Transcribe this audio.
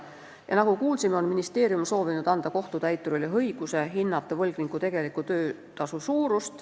Nagu enne kuulsime, on ministeerium soovinud anda kohtutäiturile õiguse hinnata võlgniku tegeliku töötasu suurust.